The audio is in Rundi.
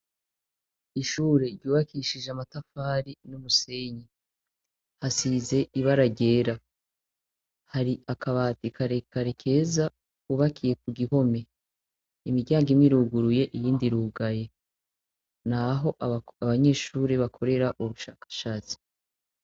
Ishuri ryubakishije amatafari n'umusenyi hasize ibara ryera hari akabati karekare keza ku bakiye ku gihome imiryango imwe iruguruye iyindi irugaye naho abanyeshuri bakorera ubushakashatsi.